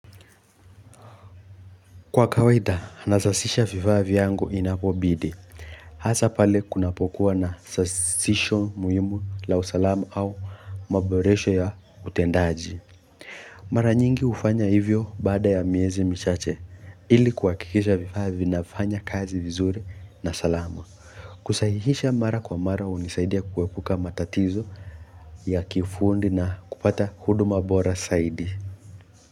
Kwa kawaida nasasisha vivaa vyangu inapobidi hasa pale kunapokuwa na sasisho muhimu la usalamu au maboresho ya utendaji mara nyingi ufanya hivyo baada ya miezi michache ili kuhakikisha vifaa vinafanya kazi vizuri na salamu kusahihisha mara kwa mara unisaidia kuepuka matatizo ya kiufundi na kupata hudu ma bora saidi.